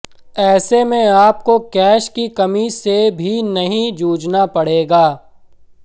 ऐसे में आपको कैश की कमी से भी नहीं जूझना पड़ेगा